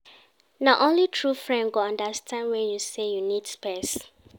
Na only true friend go understand wen you say you need space.